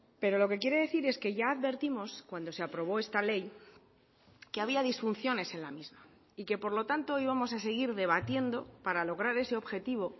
pero lo que quiere decir es que ya advertimos cuando se aprobó esta ley que había disfunciones en la misma y que por lo tanto íbamos a seguir debatiendo para lograr ese objetivo